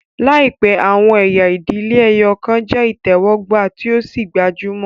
Laipẹ, awọn ẹya idile ẹyọkan jẹ itẹwọgba tí o sì gbajúmọ̀